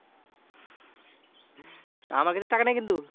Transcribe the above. আমার কাছে টাকা নাই কিন্তু?